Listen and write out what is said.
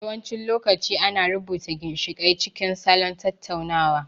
Yawancin lokaci ana rubuta ginshiƙai cikin salon tattaunawa.